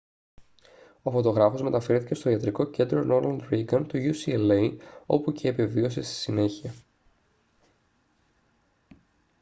ο φωτογράφος μεταφέρθηκε στο ιατρικό κέντρο ρόναλντ ρήγκαν του ucla όπου και επεβίωσε στη συνέχεια